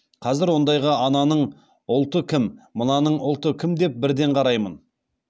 қазір ондайға ананың ұлты кім мынаның ұлты кім деп бірден қараймын